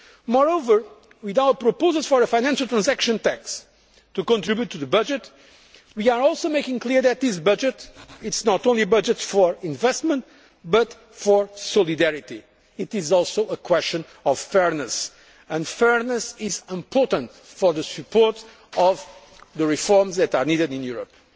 Bank. Moreover, with our proposals for a financial transaction tax to contribute to the budget, we are also making clear that this budget is not only a budget for investment but for solidarity. It is also a question of fairness, and fairness is important for the support of the reforms that are needed in